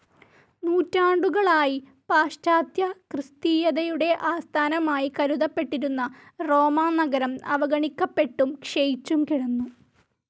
നൂറ്റാണ്ടുകളായി പാശ്ചാത്യക്രിസ്തീയതയുടെ ആസ്ഥാനമായി കരുതപ്പെട്ടിരുന്ന റോമാനഗരം അവഗണിക്കപ്പെട്ടും ക്ഷയിച്ചും കിടന്നു.